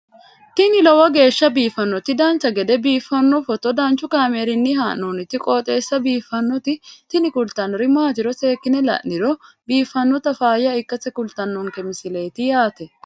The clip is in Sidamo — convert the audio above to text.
tini lowo geeshsha biiffannoti dancha gede biiffanno footo danchu kaameerinni haa'noonniti qooxeessa biiffannoti tini kultannori maatiro seekkine la'niro biiffannota faayya ikkase kultannoke misileeti yaate